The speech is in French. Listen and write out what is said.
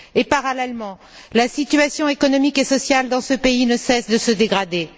Parallèlement, la situation économique et sociale dans ce pays ne cesse de se dégrader.